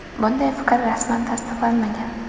Bunday fikr rasman tasdiqlanmagan.